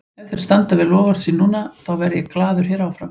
Ef þeir standa við loforð sín núna, þá verð ég glaður hér áfram.